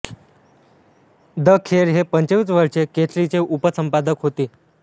the खेर हे पंचवीस वर्षे केसरीचे उपसंपादक होते